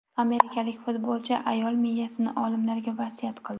Amerikalik futbolchi ayol miyasini olimlarga vasiyat qildi.